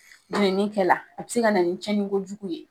min kɛla a be se ka na nin cɛnni ko jugu ye.